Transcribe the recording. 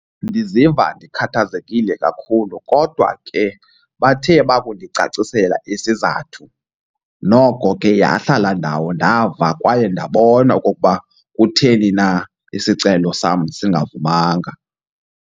Ndiziva ndikhathazekile kakhulu kodwa ke bathe bakundicacisela isizathu noko ke yahlala ndawo ndava kwaye ndabona okokuba kutheni na isicelo sam singavumanga.